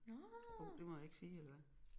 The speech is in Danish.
Hov det må jeg ikke sige eller hvad